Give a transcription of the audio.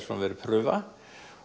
svona prufa